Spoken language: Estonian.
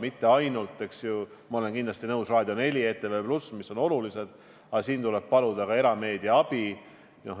Mitte ainult Raadio 4 ja ETV+, mis on olulised, aga siin tuleb paluda ka erameedia abi,